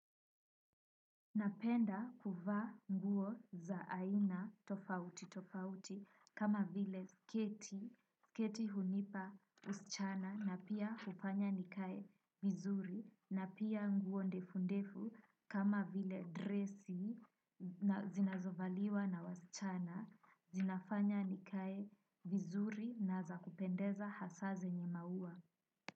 Napenda kuvaa nguo za aina tofauti tofauti kama vile sketi, sketi hunipa usichana na pia kufanya nikae vizuri na pia nguo ndefu ndefu kama vile dressi zinazovaliwa na wasichana zinafanya nikae vizuri na za kupendeza hasa zenye maua.